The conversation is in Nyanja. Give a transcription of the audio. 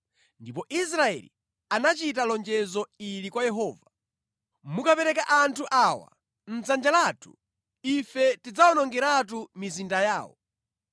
Ndipo Israeli anachita lonjezo ili kwa Yehova: “Mukapereka anthu awa mʼdzanja lathu ife tidzawonongeratu mizinda yawo.”